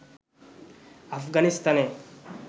আফগানিস্তানে